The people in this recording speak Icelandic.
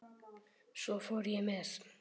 Svo fór ég með